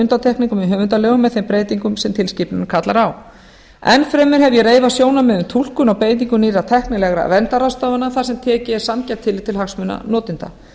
undantekningum í höfundalögum með þeim breytingum sem tilskipunin kallar á enn fremur hef ég reifað sjónarmið um túlkun og beitingu nýrra tæknilegra verndarráðstafana þar sem tekið er sanngjarnt tillit til hagsmuna notenda